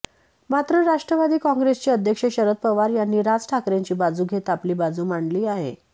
मात्र राष्ट्रवादी कॉंग्रेसचे अध्यक्ष शरद पवार यांनी राज ठाकरेंची बाजू घेत आपली बाजू मांडली आहे